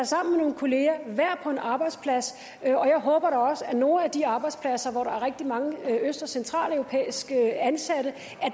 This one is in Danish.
sammen med nogle kollegaer være på en arbejdsplads og jeg håber da også at nogle af de arbejdspladser hvor der er rigtig mange øst og centraleuropæiske ansatte